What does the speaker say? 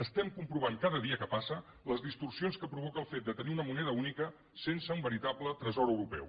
estem comprovant cada dia que passa les distorsions que provoca el fet de tenir una moneda única sense un veritable tresor europeu